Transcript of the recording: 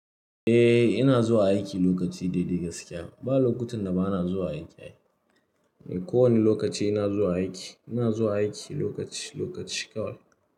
Eh, ina zuwa aiki lokaci daidai gaskiya. Ba lokutan da ba na zuwa aiki ai. Eh, kowane lokaci ina zuwa aiki. Ina zuwa aiki lokaci lokaci kawai.